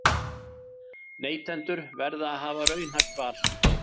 Neytendur verða að hafa raunhæft val